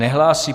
Nehlásí.